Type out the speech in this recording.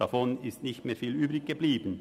Davon ist nicht mehr viel übrig geblieben.